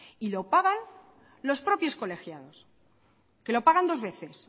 y lo pagan los propios colegiados que lo pagan dos veces